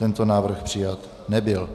Tento návrh přijat nebyl.